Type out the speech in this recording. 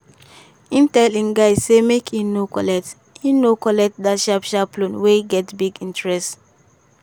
im tell him guy say make e no collect e no collect that sharp sharp loan wey get big interest.